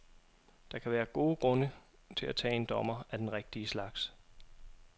Der kan være gode grunde til at tage en dommer, af den rigtige slags.